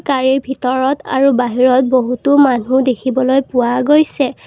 গাড়ীৰ ভিতৰত আৰু বাহিৰত বহুতো মানুহ দেখিবলৈ পোৱা গৈছে।